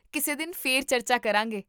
ਕਿਸੇ ਦਿਨ ਫਿਰ ਚਰਚਾ ਕਰਾਂਗੇ